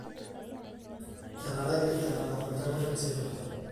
Etaraki entara tolchamba le Museveni.